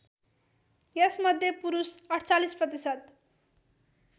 यसमध्ये पुरुष ४८ प्रतिशत